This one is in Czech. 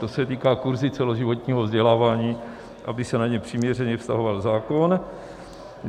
To se týká kurzů celoživotního vzdělávání, aby se na ně přiměřeně vztahoval zákon.